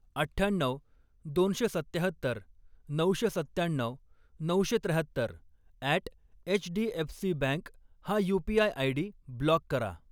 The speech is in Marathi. अठ्ठ्याण्णऊ, दोनशे सत्त्याहत्तर, नऊशे सत्त्याण्णऊ, नऊशे त्र्याहत्तर अॅट एचडीएफसीबँक हा यू.पी.आय. आयडी ब्लॉक करा.